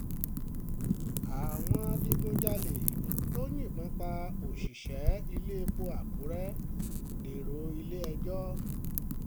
àwọn adigunjalè tó yìnbọn pa òṣìṣẹ́ iléepo àkúrẹ́ dèrò ilé-ẹjọ́